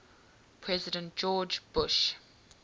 president george bush